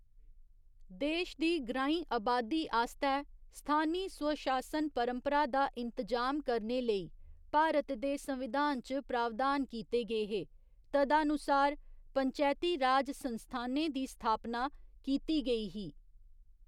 देश दी ग्राईं अबादी आस्तै स्थानी स्वशासन परपंरा दा इंतजाम करने लेई, भारत दे संविधान च प्रावधान कीते गे हे, तदानुसार, पंचैती राज संस्थानें दी स्थापना कीती गेई ही।